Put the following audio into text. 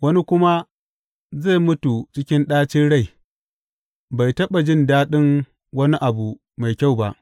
Wani kuma zai mutu cikin ɗacin rai, bai taɓa jin daɗin wani abu mai kyau ba.